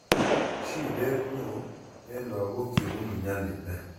shidet neoo eng lakok chebunu nyalilda